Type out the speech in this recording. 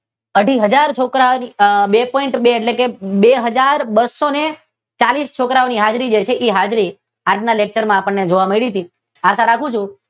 અઢી હજાર છોકરાઓની ટુ પોઈન્ટ ટુ એટલે કે બે હજાર બસો ચાલીસ છોકરાઓની હાજરી છે જે હાજરી આજના લેકચર માં જોવા મળી હતી આશા રાખું છું કે